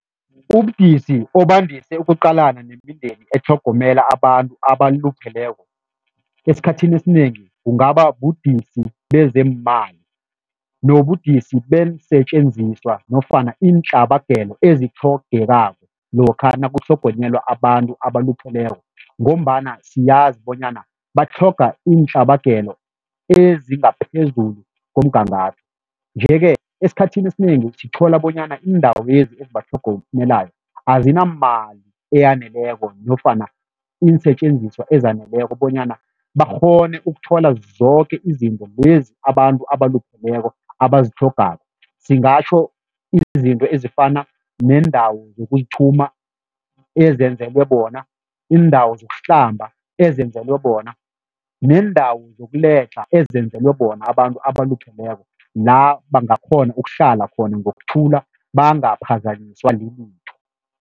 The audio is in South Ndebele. Ubudisi obandise ukuqalana nemindeni etlhogomela abantu abalupheleko, esikhathini esinengi kungaba budisi bezeemali, nobudisi beensetjenziswa nofana iintlabagelo ezitlhogekako lokha nakutlhogonyelwa abantu abalupheleko ngombana siyazi bonyana batlhoga iintlabagelo ezingaphezulu komgangatho nje-ke, esikhathini esinengi sithola bonyana iindawezi ezibatlhogomelako azinamali eyaneleko nofana iinsetjenziswa ezaneleko bonyana bakghone ukuthola zoke izinto lezi abantu abalupheleko abazitlhogako. Singatjho izinto ezifana neendawo zokuzithuma ezenzelwe bona, iindawo zokuhlamba ezenzelwe bona, neendawo zokuledlha ezenzelwe bona abantu abalupheleko la bangakghona ukuhlala khona ngokuthula bangaphazanyiswa lilitho.